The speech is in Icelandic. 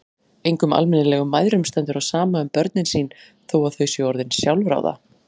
Engum almennilegum mæðrum stendur á sama um börnin sín þó að þau séu orðin sjálfráða.